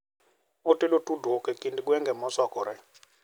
Otego tudruok e kind gwenge mosokore.